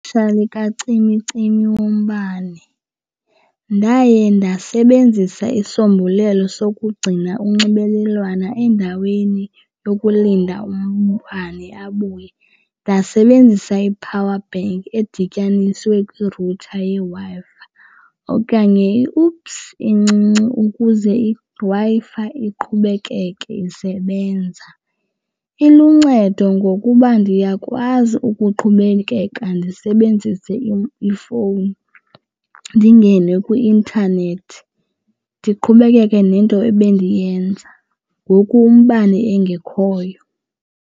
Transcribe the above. kacimicimi wombane ndaye ndasebenzisa isombulelo sokugcina unxibelelwano endaweni yokulinda umbane abuye. Ndasebenzisa i-power bank edityaniswe kwi-router yeWi-Fi fi okanye i-UPS encinci ukuze iWi-Fi iqhubekeke isebenza. Iluncedo ngokuba ndiyakwazi ukuqhubekeka ndisebenzise ifowuni ndingene kwi-intanethi ndiqhubekeke nento ebendiyenza ngoku umbane engekhoyo.